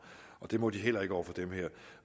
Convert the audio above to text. og det må de heller ikke over for dem her